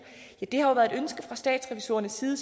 ja det har jo været et ønske fra statsrevisorernes side